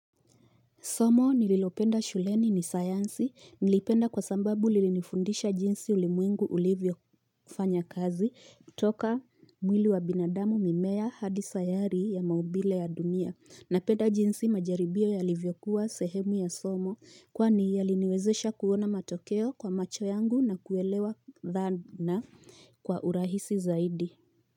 Somo nililopenda shuleni ni sayansi niliipenda kwa sababu lilinifundisha jinsi ulimwengu ulivyofanya kazi toka mwili wa binadamu mimea hadi sayari ya maumbile ya dunia napenda jinsi majaribio yalivyokuwa sehemu ya somo kwani yaliniwezesha kuona matokeo kwa macho yangu na kuelewa dhana kwa urahisi zaidi.